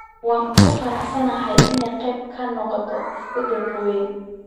Wuu ku faraxsan yahay inuu qayb ka noqdo isbeddelkan weyn.